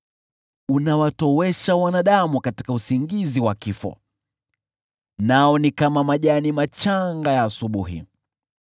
Unawatowesha wanadamu katika usingizi wa kifo, nao ni kama majani machanga ya asubuhi: